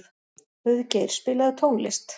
Auðgeir, spilaðu tónlist.